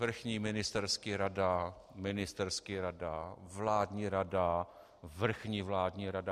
Vrchní ministerský rada, ministerský rada, vládní rada, vrchní vládní rada.